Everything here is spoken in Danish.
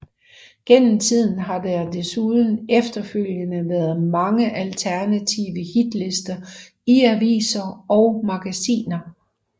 Gennem tiden har der desuden efterfølgende været mange alternative hitlister i aviser og magasiner